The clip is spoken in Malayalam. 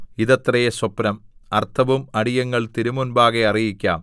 ഇതത്രെ സ്വപ്നം അർത്ഥവും അടിയങ്ങൾ തിരുമുമ്പാകെ അറിയിക്കാം